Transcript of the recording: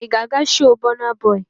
Ị ga-aga shoo Bọna bọị?